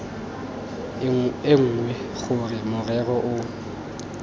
e nngwe gore morero o